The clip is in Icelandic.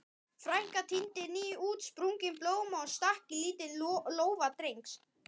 Frænka tíndi nýútsprungin blóm og stakk í lítinn lófa Drengs.